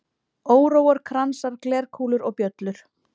Óróar, kransar, glerkúlur og bjöllur.